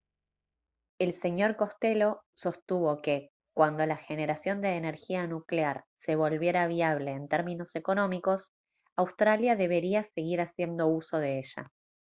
el sr costello sostuvo que cuando la generación de energía nuclear se volviera viable en términos económicos australia debería seguir haciendo uso de ella